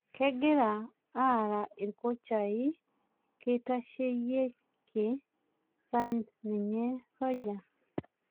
Kegira araa irkochai keitasheyieke sa ninye soja